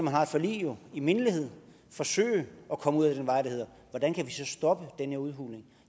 har et forlig i mindelighed forsøge at komme ud ad den vej der hedder hvordan kan stoppe den her udhuling